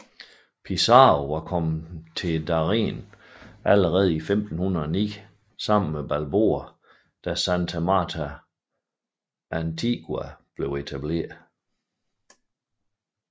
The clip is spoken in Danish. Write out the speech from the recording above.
Pizarro var kommet til Darién allerede i 1509 sammen med Balboa da Santa Marta Antigua blev etableret